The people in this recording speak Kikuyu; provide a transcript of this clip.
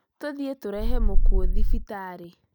Tũthiĩ tũrehe mũkuũ thibitarĩ